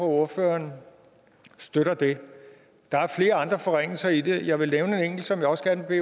ordføreren støtter det der er flere andre forringelser i det jeg vil nævne en enkelt som jeg også gerne vil